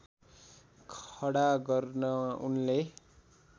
खडा गर्न उनले